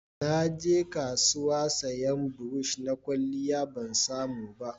Na je kasuwa sayan burosh na kwalliya, ban samu ba